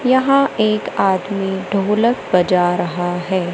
यहां एक आदमी ढोलक बज रहा है।